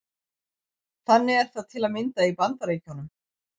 Þannig er það til að mynda í Bandaríkjunum.